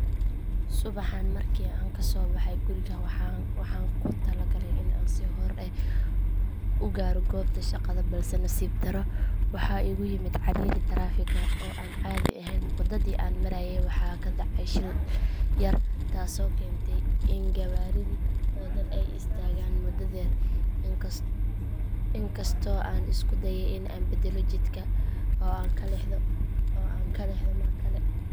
Waayo aragnimadayda ee ku saabsan adeegyada dowladda elektaroonigga ah ee kenya waxay ahayd mid isku dhafan marka hore adeegyada qaarkood sida bixinta canshuurta isdiiwaangelinta ganacsiga iyo helidda warqadaha muhiimka ah sida dhalashada ama aqoonsiga waxay ahaayeen kuwo si fudud loo helayo iyadoo la adeegsanaayo taleefan ama kombiyuutar balse marka xilliyada qaarkood serverka ama barnaamijyada ay adeegsadaan ay cilad yeeshaan waxay keeni jirtay dib u